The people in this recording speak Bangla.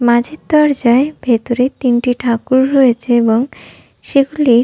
মাঝের দরজায় ভেতরে তিনটি ঠাকুর রয়েছে এবং সেগুলি--